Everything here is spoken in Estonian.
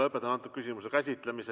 Lõpetan antud küsimuse käsitlemise.